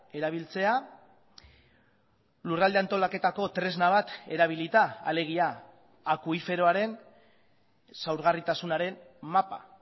erabiltzea lurralde antolaketako tresna bat erabilita alegia akuiferoaren zaurgarritasunaren mapa